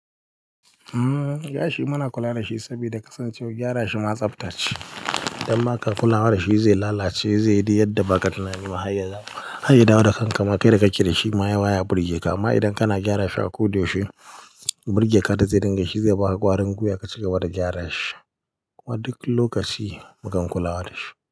Gashi muna kula da shi saboda kasancewar gyara shi ma tsaftace. Dan ma ka kula da shi zai lalace, zai yi yadda ba ka tunani ma Har ya dawo da kanka ma kai da kanka baya birge ka toh amma idan kana gyara shi a koda yaushe, burge ka da zai dinga shi zai baka ƙwarin gwiwa ka cigaba da gyara shi. Duk lokaci mukan kulawa da shi.